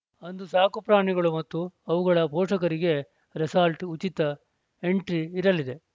ಅಂದು ಸಾಕುಪ್ರಾಣಿಗಳು ಮತ್ತು ಅವುಗಳ ಪೋಷಕರಿಗೆ ರೆಸಾರ್ಟ್‌ ಉಚಿತ ಎಂಟ್ರಿ ಇರಲಿದೆ